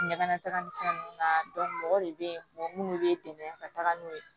Ɲagamitaga ni fɛn nunnu na mɔgɔ de be yen nɔ munnu be dɛmɛ ka taga n'o ye